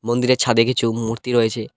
মন্দিরের ছাদে কিছু মূর্তি রয়েছে।